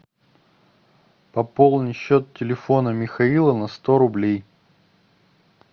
пополни счет телефона михаила на сто рублей